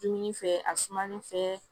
Dumuni fɛ a sumani fɛ